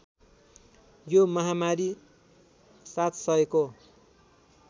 यो महामारी ७००को